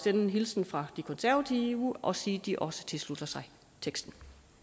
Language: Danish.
en hilsen fra de konservative og sige at de også tilslutter sig teksten